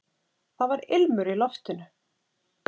Það var ilmur í loftinu!